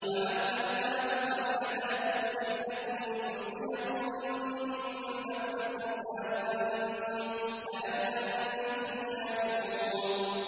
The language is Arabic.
وَعَلَّمْنَاهُ صَنْعَةَ لَبُوسٍ لَّكُمْ لِتُحْصِنَكُم مِّن بَأْسِكُمْ ۖ فَهَلْ أَنتُمْ شَاكِرُونَ